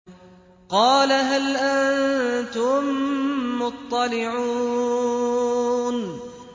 قَالَ هَلْ أَنتُم مُّطَّلِعُونَ